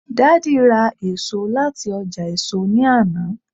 daddy ra eso lati oja èso ni Ana